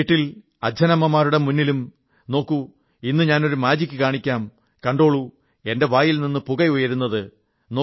വീട്ടിൽ അച്ഛനമമ്മമാരുടെ മുന്നിലും നോക്കൂ ഇന്ന് ഞാനൊരു മാജിക്ക് കാണിക്കാം കണ്ടോളൂ എന്റെ വായിൽനിന്ന് പുക ഉയരുന്നത്